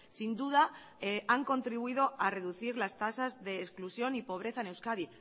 sin duda han contribuido a reducir las tasas de exclusión y pobreza en euskadi